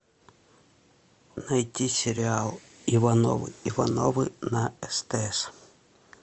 найти сериал ивановы ивановы на стс